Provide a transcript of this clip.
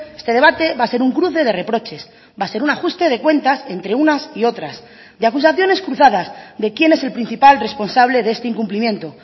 este debate va a ser un cruce de reproches va a ser un ajuste de cuentas entre unas y otras de acusaciones cruzadas de quién es el principal responsable de este incumplimiento